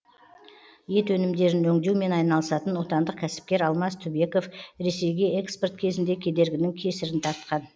ет өнімдерін өңдеумен айналысатын отандық кәсіпкер алмаз түбеков ресейге экспорт кезінде кедергінің кесірін тартқан